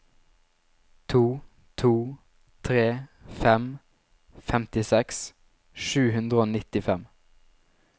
to to tre fem femtiseks sju hundre og nittifem